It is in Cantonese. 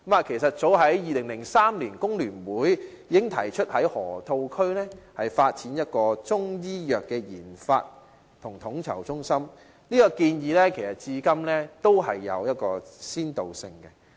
其實早在2003年，香港工會聯合會已經提出在河套區發展中醫藥研發及統籌中心，這個建議至今仍然具先導性。